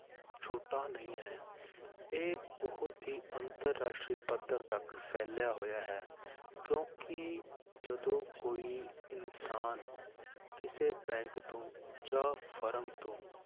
ਛੋਟਾ ਨਹੀਂ ਹੈ, ਇਹ ਬਹੁਤ ਹੀ ਅੰਤਰ ਰਾਸ਼ਟਰੀ ਪੱਧਰ ਤੱਕ ਫੈਲਿਆ ਹੋਇਆ ਹੈ ਕਿਉਂਕਿ ਜਦੋਂ ਕੋਈ ਇਨਸਾਨ ਕਿਸੇ bank ਤੋਂ ਜਾਂ ਫਰਮ ਤੋਂ